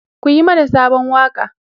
ku Yi mana Sabon waƙa!